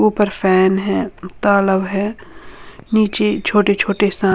ऊपर फैन है तालाब है नीचे छोटा छोटा सा --